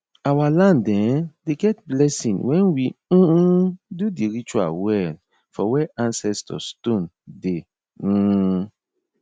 our land um dey get blessing when we um do di ritual well for where ancestor stone dey um